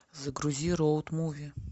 загрузи роуд муви